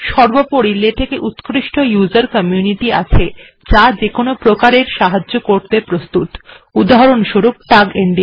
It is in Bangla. সর্বপরি লেটেক্ এ উত্কৃষ্ট উসের কমিউনিটি বা ব্যবহারকারীদের সংগঠন আছে যা যেকোন প্রকারের সাহায্য করতে প্রস্তুতউদাহরণস্বরূপ টাগ india